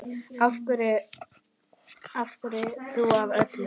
Af hverju þú af öllum?